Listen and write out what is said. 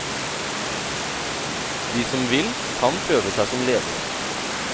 De som vil, kan prøve seg som ledere.